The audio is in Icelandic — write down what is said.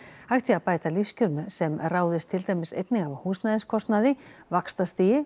hægt sé að bæta lífskjör sem ráðist til dæmis einnig af húsnæðiskostnaði vaxtastigi